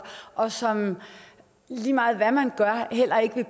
og som lige meget hvad man gør heller ikke vil